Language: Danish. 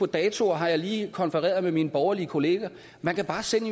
datoer har jeg lige konfereret med mine borgerlige kolleger man kan bare sende